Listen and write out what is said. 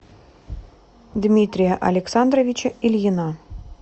дмитрия александровича ильина